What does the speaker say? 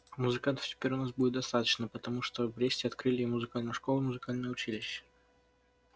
а музыкантов теперь у нас будет достаточно потому что в бресте открыли и музыкальную школу и музыкальное училище